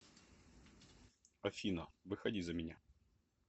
афина выходи за меня